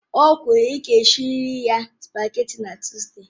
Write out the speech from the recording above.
O kwuru, ịga esirila sụpágètị̀ na Tuzdee!